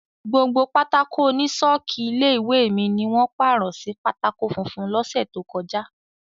Gbogbo pátákó oní ṣọ́ọ̀kì ilé-ìwé mi ni wọ́n pàrọ̀ sí pátákó funfun lọ́sẹ̀ tó kọjá.